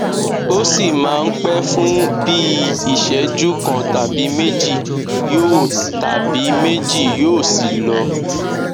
ó sì máa ń pẹ fún bí i ìṣẹjú kan tàbí méjì yóò tàbí méjì yóò sì lọ